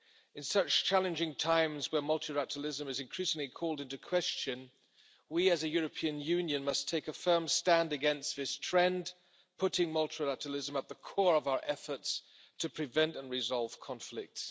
In such challenging times, where multilateralism is increasingly called into question, we as a European Union must take a firm stand against this trend, putting multilateralism at the core of our efforts to prevent and resolve conflicts.